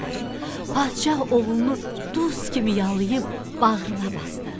Padşah oğlunu duz kimi yalayb bağrına basdı.